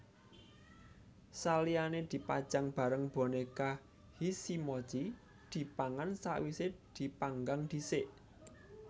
Saliyane dipajang bareng boneka hisimochi dipangan sawise dipanggang dhisik